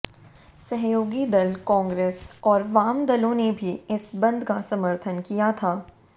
सहयोगी दल कांग्रेस और वाम दलों ने भी इस बंद का समर्थन किया था